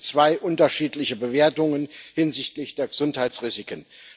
Also gibt es zwei unterschiedliche Bewertungen hinsichtlich der Gesundheitsrisiken.